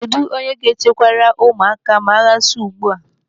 Kedụ onye ga-echekwara ụmụaka ma agha su ugbu a?